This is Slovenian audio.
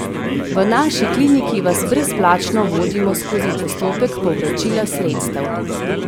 V naši kliniki vas brezplačno vodimo skozi postopek povračila sredstev!